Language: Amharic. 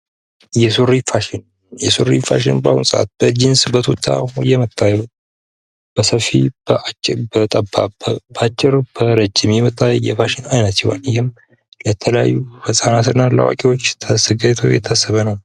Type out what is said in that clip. የሱሪ ፋሽን የሱሪ ፋሽን በአሁኑ ሰአት በጅንስ በቱታ እየመጣ በሰፊ በአጭር በጠባብ በአጭር በረጅም የመጣ የፋሽን አይነት ሲሆን ይህም ለተለያዩ ህጻናትና ለአዋቂዎች ተዘጋጅቶ የታሰበ ነው።